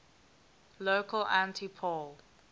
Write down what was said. local anti poll